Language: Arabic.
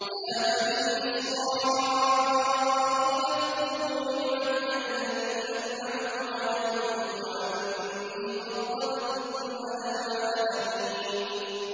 يَا بَنِي إِسْرَائِيلَ اذْكُرُوا نِعْمَتِيَ الَّتِي أَنْعَمْتُ عَلَيْكُمْ وَأَنِّي فَضَّلْتُكُمْ عَلَى الْعَالَمِينَ